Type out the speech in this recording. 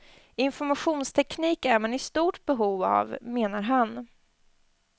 Informationsteknik är man i stort behov av, menar han.